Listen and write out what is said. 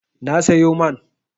Na sayo man.